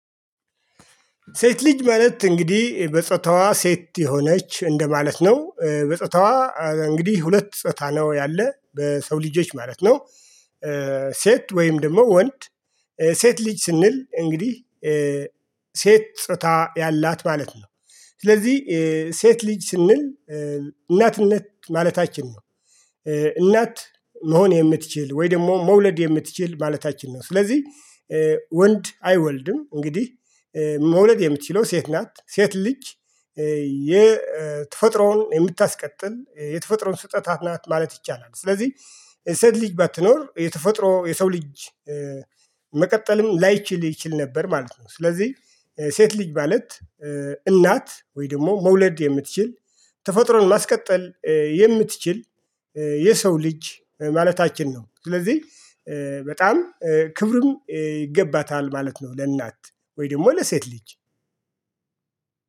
ሴት ልጅ ማለት እንግዲህ በጸታዋ ሴት የሆነች እንደማለት ነው በጸታዋ እንግዲህ ሁለት ጾታ ነው ያለ በሰው ልጆች ማለት ነው። ሴት ወይም ደግሞ ወንድ። ሴት ልጅ ስንል እንግዲህ። ሴት ጾታ ያላት ማለት ነው። ስለዚህ ሴት ልጅ ስንል እናትነት ማለታችን ነው። እናት መሆን የምትችል ወይ ደግሞ መውለድ የምትችል ማለታችን ነው። ስለዚህ ወንድ አይወልድም እንግዲህ። መውለድ የምትችለው ሴት ናት ሴት ልጅ። የተፈጥሮን የምታስቀጥል የተፈጥሮን ስጦታት ናት ማለት ይቻላል። ስለዚህ የሴት ልጅ ባትኖር የተፈጥሮ የሰው ልጅ። መቀጠልም ላይችል ይችል ነበር ማለት ነው። ስለዚህ ሴት ልጅ ማለት። እናት ወይ ደግሞ መውለድ የምትችል ተፈጥሮን ማስቀጠል የምትችል የሰው ልጅ ማለታችን ነው። ስለዚህ በጣም ክብርን ይገባታል ማለት ነው። ለእናት ወይ ደግሞ ለሴት ልጅ